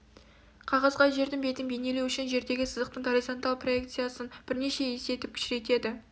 қағазға жердің бетін бейнелеу үшін жердегі сызықтың горизонталь проекциясын бірнеше есе етіп кішірейтеді